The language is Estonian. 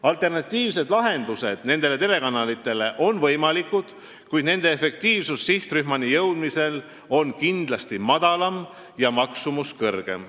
Alternatiivsed lahendused nendele telekanalitele on võimalikud, kuid nende efektiivsus sihtrühmani jõudmisel on kindlasti madalam ja maksumus kõrgem.